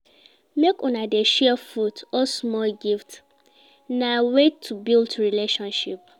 Make una dey share food or small gifts, na way to build relationship.